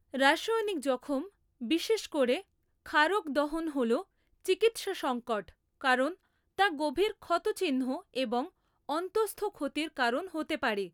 রাসায়নিক জখম, বিশেষ করে ক্ষারক দহন হল চিকিৎসা সঙ্কট, কারণ তা গভীর ক্ষতচিহ্ন এবং অন্তঃস্থ ক্ষতির কারণ হতে পারে।